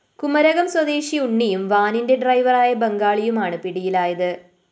കുമരകം സ്വദേശി ഉണ്ണിയും വാനിന്റെ ഡ്രൈവറായ ബംഗാളി യുമാണ് പിടിയിലായത്